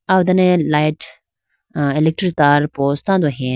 aw dane light a electric tar pose tando heyayi.